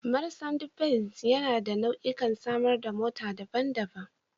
Marsandi benz yana da nau'ikan samar da mota daban-daban.